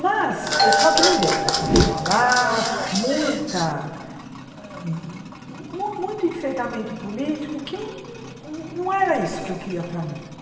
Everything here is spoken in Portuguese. Mas, só que não deu para continuar lá, muita eh mu muito enfrentamento político, que não não era isso que eu queria para mim.